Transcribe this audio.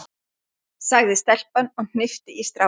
sagði stelpan og hnippti í strákinn.